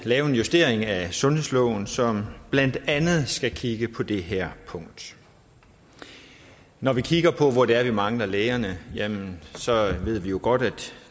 lave en justering af sundhedsloven som blandt andet skal kigge på det her punkt når vi kigger på hvor det er vi mangler lægerne jamen så ved vi jo godt at